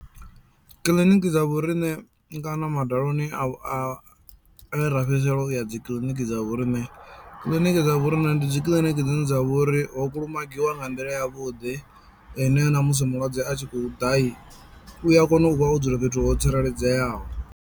Kiḽiniki dza vho riṋe kana madaloni a a e ra fhedzisela uya dzi kiḽiniki dza vho riṋe, kiḽiniki dza vho riṋe ndi dzi kiḽiniki dzine dza vha uri ho kulumagiwa nga nḓila ya vhuḓi ine na musi mulwadze a tshi kho ḓai u a kona u vha o dzula fhethu ho tsireledzeaho.